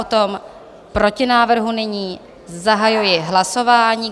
O tom protinávrhu nyní zahajuji hlasování.